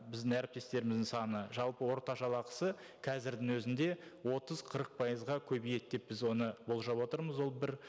біздің әріптестеріміздің саны жалпы орта жалақысы қазірдің өзінде отыз қырық пайызға көбейеді деп біз оны болжап отырмыз ол бір